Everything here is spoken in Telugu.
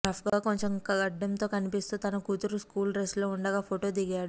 రఫ్గా కొంచెం గడ్డంతో కనిపిస్తూ తన కూతురు స్కూల్ డ్రస్లో ఉండగా ఫొటో దిగాడు